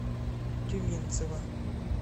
тюменцева